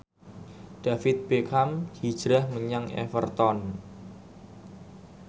David Beckham hijrah menyang Everton